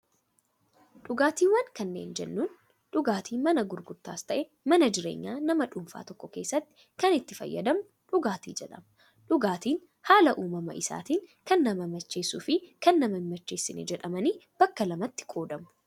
Dhugaatiiwwan kanneen jennuun, dhugaatii mana gurgurtaas ta'ee, mana jireenya nama dhuunfaa tokko keessatti kan itti fayyadamnu dhugaatii jedhama. Dhugaatiin haala uumama isaatiin kan nama macheessuu fi kan nama hin macheessiin jedhamanii bakka lamatti qoodamu.